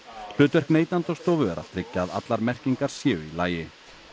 hlutverk Neytendastofu er að tryggja að allar merkingar séu í lagi